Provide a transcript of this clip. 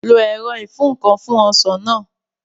Lo ẹ̀rọ ìfúǹkan fún Ọsàn náà